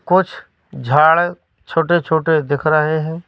कुछ झाड़ छोटे-छोटे दिख रहे है।